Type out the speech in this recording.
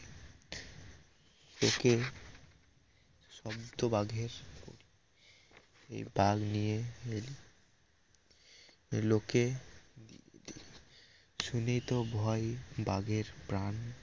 তোকে শব্দ বাঘের এ বাঘ নিয়ে লোকে শুনে তো ভয় বাঘের প্রান